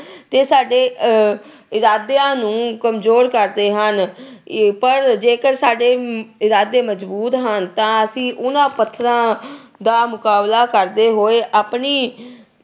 ਤੇ ਸਾਡੇ ਇਰਾਦਿਆਂ ਨੂੰ ਕਮਜੋਰ ਕਰਦੇ ਹਨ ਪਰ ਜੇਕਰ ਸਾਡੇ ਇਰਾਦੇ ਮਜ਼ਬੂਤ ਹਨ ਤਾਂ ਅਸੀਂ ਉਹਨਾਂ ਪੱਥਰਾਂ ਦਾ ਮੁਕਾਬਲਾ ਕਰਦੇ ਹੋਏ ਆਪਣੀ